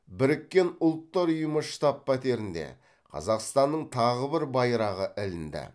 біріккен ұлттар ұйымы штаб пәтерінде қазақстанның тағы бір байрағы ілінді